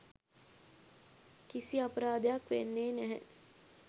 කිසි අපරාදයක් වෙන්නේ නැහැ